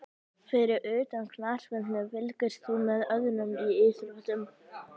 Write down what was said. Fyrir utan knattspyrnu, fylgist þú með öðrum íþróttum?